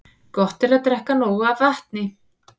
Gott er að drekka nóg af vatni.